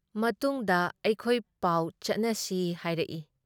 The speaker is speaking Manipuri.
ꯃꯇꯨꯡꯗ ꯑꯩꯈꯣꯏ ꯄꯥꯎ ꯆꯠꯅꯁꯤ ꯍꯥꯏꯔꯛꯏ ꯫